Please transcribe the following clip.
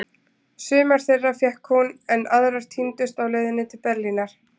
Sumar þeirra fékk hún, en aðrar týndust á leiðinni til Berlínar.